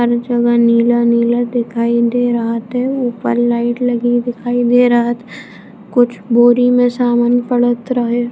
हर जगह नीला-नीला नजर दिखाई दे रहत है ऊपर लाइट लगी दिखाई दे रहत